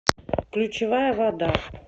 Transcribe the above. ключевая вода